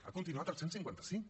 ha continuat el cent i cinquanta cinc